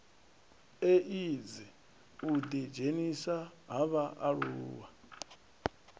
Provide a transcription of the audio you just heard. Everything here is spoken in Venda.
eidzi u ḓidzhenisa ha vhaaluwa